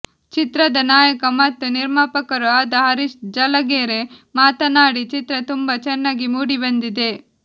ಚಿತ್ರದ ನಾಯಕ ಮತ್ತು ನಿರ್ಮಾಪಕರೂ ಆದ ಹರೀಶ್ ಜಲಗೆರೆ ಮಾತನಾಡಿ ಚಿತ್ರ ತುಂಬಾ ಚೆನ್ನಾಗಿ ಮೂಡಿಬಂದಿದೆ